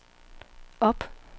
op